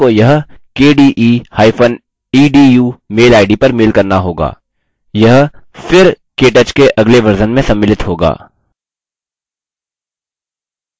आपको यह kdeedu mail ID पर mail करना होगा यह फिर केटच के अगले वर्ज़न में सम्मिलित होगा